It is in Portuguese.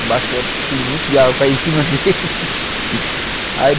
Embaixo daquele monte de água caindo em cima deles.